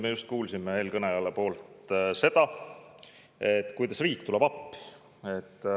Me just kuulsime eelkõneleja suust seda, kuidas riik tuleb appi.